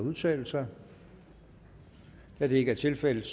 at udtale sig da det ikke er tilfældet